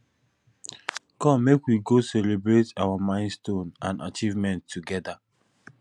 come make we go celebrate our milestones and achievements together